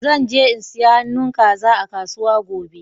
Zan je in siya han'nu kaza a kasuwa gobe.